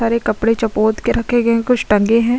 हर एक कपडे़ चपोत के रखे गए कुछ टंगे है।